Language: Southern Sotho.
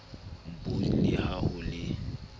npos le ha ho le